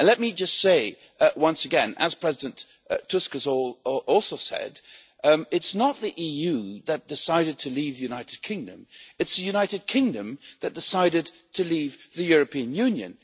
Let me just say once again, as President Tusk has also said, that it is not the EU that decided to leave the United Kingdom, it is the United Kingdom that decided to leave the European Union.